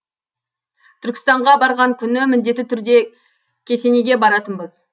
түркістанға барған күні міндетті түрде кесенеге баратынбыз